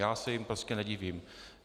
Já se jim prostě nedivím.